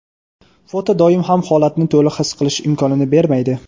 Foto doim ham holatni to‘liq his qilish imkonini bermaydi.